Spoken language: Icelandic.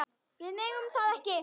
Við megum það ekki.